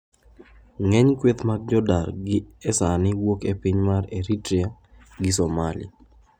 Ng'eny kweth mag jodar gi e sani wuok e piny mar Eritrea gi Somalia.